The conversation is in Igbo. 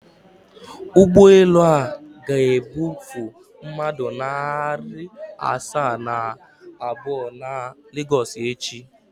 Ụgbọelu a ga-ebufe mmadụ narị asaa na abụọ na Lagos echi?